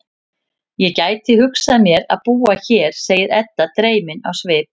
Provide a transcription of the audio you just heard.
Ég gæti hugsað mér að búa hér, segir Edda dreymin á svip.